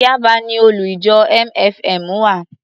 Yaba ni olú-ìjọ MFM wà.